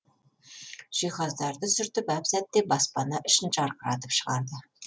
жиһаздарды сүртіп әп сәтте баспана ішін жарқыратып шығарды